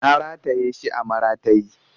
Na rataye shi a maratayi